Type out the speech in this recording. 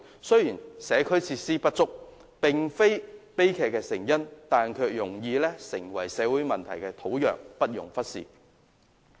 雖然社區設施不足並非悲劇的成因，但卻容易成為社會問題的土壤，不容忽視。